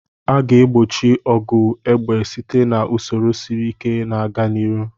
A ga-egbochi ọgụ egbe site na usoro siri ike na-aga n'ihu.